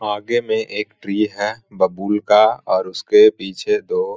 आगे में एक ट्री है बबूल का और उसके पीछे दो --